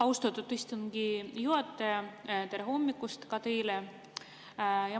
Austatud istungi juhataja, tere hommikust ka teile!